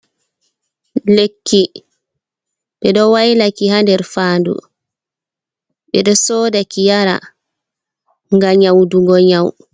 Lekki be ɗo wailaki ha nder faanɗu. Be ɗo soɗaki yara ga nyauɗugo nyau.